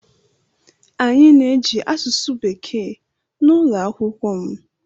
Anyị na-eji asụsụ bekee na ụlọ akwụkwọ m.